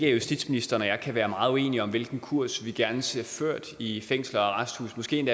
at justitsministeren og jeg kan være meget uenige om hvilken kurs vi gerne ser ført i fængsler og arresthuse måske